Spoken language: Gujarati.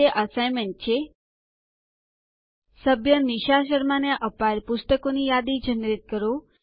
અંતે અસાઇનમેન્ટ છે સભ્ય નિશા શર્માને અપાયેલ પુસ્તકોની યાદી જનરેટ કરો